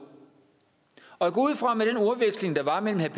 og jeg går ud fra med den ordveksling der var mellem herre